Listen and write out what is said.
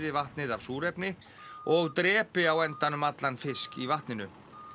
vatnið af súrefni og drepi á endanum allan fisk í vatninu